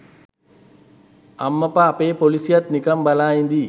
අම්මපා අපෙ පොලිසියත් නිකං බලං ඉදී.